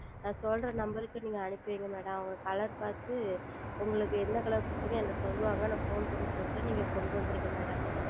நான் சொல்லும் Number க்கு நீங்கள் அனுப்பி வையுங்கள் Madam அவர்கள் Color பார்த்து உங்களுக்கு என்ன Color புடித்துள்ளது என்று சொல்லுவார்கள் நான் Phone செய்து சொல்லுகிறேன் நீங்கள் கொண்டு வந்து விடுங்கள் Madam